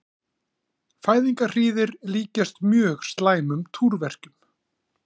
Fæðingarhríðir líkjast mjög slæmum túrverkjum.